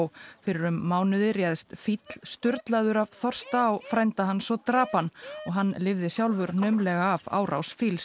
fyrir um mánuði réðst fíll sturlaður af þorsta á frænda hans og drap hann og hann lifði sjálfur naumlega af árás fíls